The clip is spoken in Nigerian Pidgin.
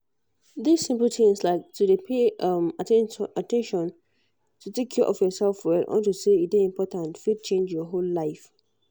this simple tins like to dey pay um at ten tion to take care of yourself well unto say e dey important fit change your whole life